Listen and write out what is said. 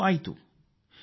ಈ ಕಸರತ್ತು ಫಲ ನೀಡಿದೆ